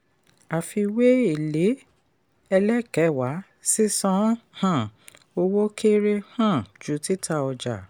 àfiwé èlé ẹlẹ́kẹ̣wà sísan um owó kéré um ju títà ọjà.